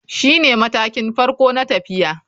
Shine matakin farko na tafiya.